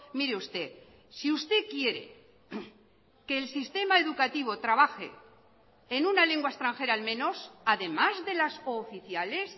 mire usted si usted quiere que el sistema educativo trabaje en una lengua extranjera al menos además de las cooficiales